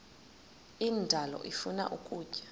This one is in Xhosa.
indalo ifuna ukutya